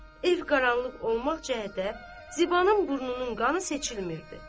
Ev qaranlıq olmaq cəhətə Zibanın burnunun qanı seçilmirdi.